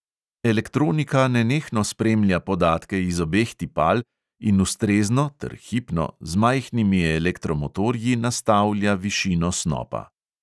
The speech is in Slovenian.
Elektronika nenehno spremlja podatke iz obeh tipal in ustrezno (ter hipno) z majhnimi elektromotorji nastavlja višino snopa.